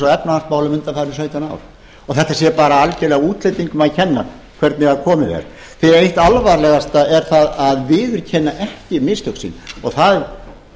á efnahagsmálunum undanfarin sautján ár og þetta sé bara algjörlega útlendingum að kenna hvernig komið er því eitt það alvarlegasta er það að viðurkenna ekki mistök sín og það